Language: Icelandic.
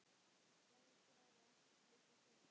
Gerður skráði ekki slíkar sölur.